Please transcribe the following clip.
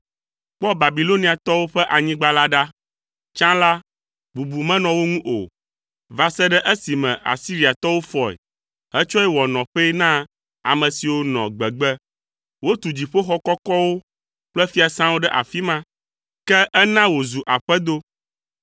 Kpɔ Babiloniatɔwo ƒe anyigba la ɖa; tsã la, bubu menɔ wo ŋu o va se ɖe esime Asiriatɔwo fɔe hetsɔe wɔ nɔƒee na ame siwo nɔ gbegbe. Wotu dziƒoxɔ kɔkɔwo kple fiasãwo ɖe afi ma; ke ena wòzu aƒedo.